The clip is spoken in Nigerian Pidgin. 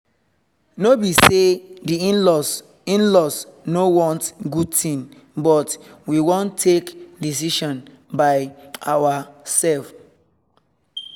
no be say di in-laws in-laws no want good thing but we wan take decision by ourselve